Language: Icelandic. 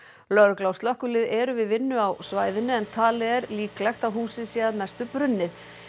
lögregla og slökkvilið eru við vinnu á svæðinu en talið er líklegt að húsið sé að mestu brunnið